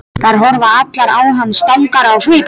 Þær horfa allar á hann strangar á svip.